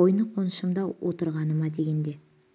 қойны-қоншымда отырғаны ма дегенде